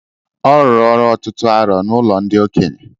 Ọ rụrụ ọrụ ọtụtụ arọ n'ụlọ ndị okenye